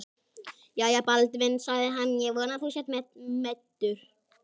Jæja, Baldvin, sagði hann,-ég vona að þú sért mettur.